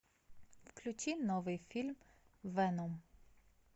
включи новый фильм веном